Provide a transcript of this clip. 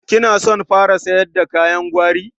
Kina son fara yasar da kayan gwari?